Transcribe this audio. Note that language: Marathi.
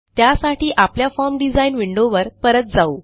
त्यासाठी आपल्या फॉर्म डिझाइन विंडोवर परत जाऊ